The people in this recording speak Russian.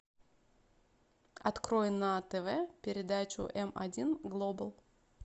открой на тв передачу м один глобал